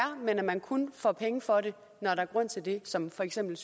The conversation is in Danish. men at man kun får penge for det når der er grund til det som for eksempel